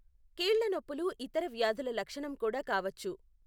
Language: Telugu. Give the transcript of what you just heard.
కీళ్ల నొప్పులు ఇతర వ్యాధుల లక్షణం కూడా కావచ్చు.